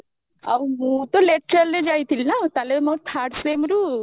ଆଉ ମୁଁ ତ lateral ରେ ଯାଇଥିଲି ନା ତାହେଲେ ମୋ third semi ରୁ